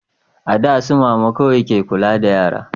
a da su mama kawai ke kula da yara